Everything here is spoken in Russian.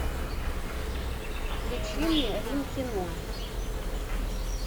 включи мне рим кино